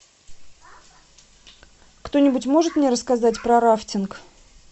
кто нибудь может мне рассказать про рафтинг